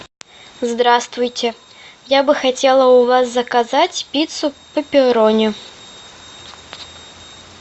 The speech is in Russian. здравствуйте я бы хотела у вас заказать пиццу пепперони